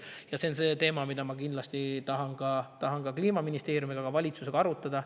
Seda teemat, milline on meie konkurentsieelis selles valdkonnas, tahan ma kindlasti ka Kliimaministeeriumi ja valitsusega arutada.